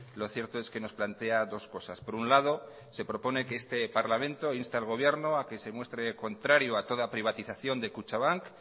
lo cierto es que nos plantea dos cosas por un lado se propone que este parlamento inste al gobierno a que se muestre contrario a toda privatización de kutxabank